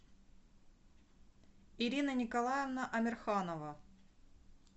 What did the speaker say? ирина николаевна амирханова